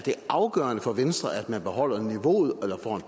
afgørende for venstre at man beholder niveauet